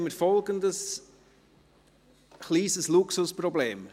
Nun haben wir folgendes kleines Luxusproblem: